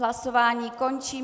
Hlasování končím.